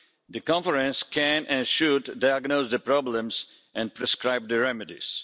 The Conference can and should diagnose the problems and prescribe the remedies.